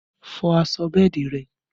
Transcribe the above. Fọ aṣọ bẹ́ẹ̀dì rẹ!